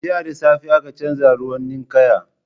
Jiya da safe aka canza ruwan ninkaya.